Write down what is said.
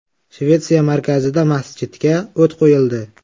Shvetsiya markazida masjidga o‘t qo‘yildi.